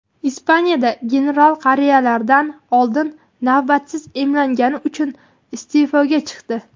Ispaniyada general qariyalardan oldin navbatsiz emlangani uchun iste’foga chiqdi.